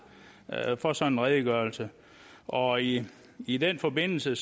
for sådan en redegørelse og i i den forbindelse